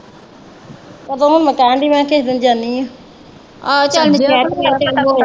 ਸਗੋਂ ਹੁਣ ਮੈਂ ਕਹਿਣ ਡਈ ਮੈਂ ਕਿਹਾ ਕਿਸੇ ਦਿਨ ਜਾਨੀ ਆ, ਆਹੋ ਆਈਓ।